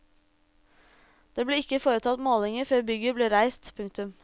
Det ble ikke foretatt målinger før bygget ble reist. punktum